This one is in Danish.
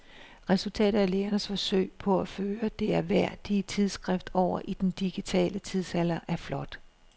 Resultatet af lægernes forsøg på at føre det ærværdige tidsskrift over i den digitale tidsalder er flot.